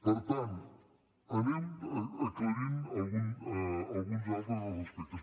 per tant anem aclarint alguns altres dels aspectes